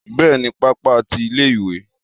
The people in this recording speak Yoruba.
bẹẹni, pápá tí ilé ìwé